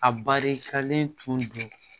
A barikalen tun do